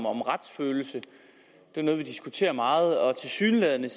om retsfølelse det er noget vi diskuterer meget og tilsyneladende